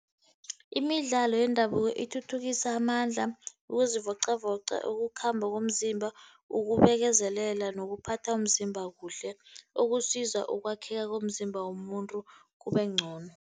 Imidlalo yendabuko ithuthukisa amandla, ukuzivocavoca, ukukhamba komzimba, ukubekezela nokuphatha umzimba kuhle, okusiza ukwakheka komzimba womuntu kubengcono.